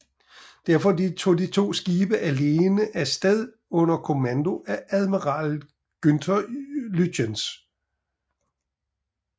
Derfor tog de to skibe alene af sted under kommando af admiral Günther Lütjens